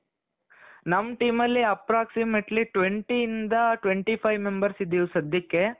ನಮ್ teamಅಲ್ಲಿ approximately twenty ಇಂದ twenty five members ಇದ್ದೀವಿ ಸದ್ಯಕ್ಕೆ.